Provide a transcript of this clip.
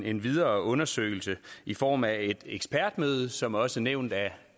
en videre undersøgelse i form af et ekspertmøde som også nævnt af